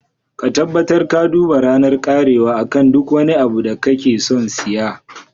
Ka tabbatar ka duba ranar karewa akan duk wani abu da kake son siya.